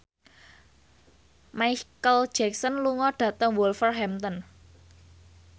Micheal Jackson lunga dhateng Wolverhampton